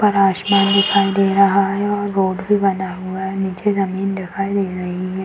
ऊपर आसमान दिखाई दे रहा है और रोड भी बना हुआ है। नीचे जमीन दिखाई दे रही है।